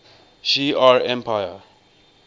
shi ar empire